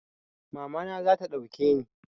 Mama na zata duke ni